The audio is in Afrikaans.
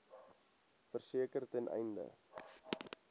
verseker ten einde